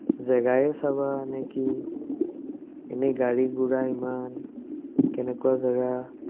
জেগাই চাবাই নে কি, এনেই গাড়ী-গুৰা ইমান, কেনেকুৱা জেগা